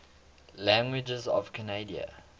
languages of canada